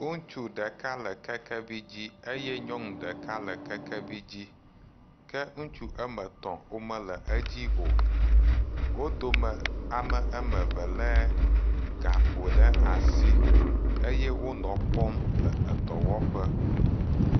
Ŋutu ɖeka le kekevi dzi eye nyɔnu ɖeka le kekevi dzi. Ke ŋutsu ame etɔ̃ wo mele edzi o. Wo dome ame ame eve lé gakpo ɖe asi eye wonɔ kpɔm le edɔwɔƒe.